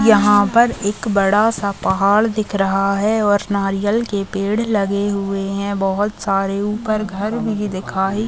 यहाँ पर एक बड़ा सा पहाड़ दिख रहा है और नारियल के पेड़ लगे हुए है बहुत सारे ऊपर घर भी दिखाई--